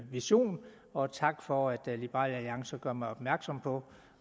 vision og tak for at liberal alliance gør mig opmærksom på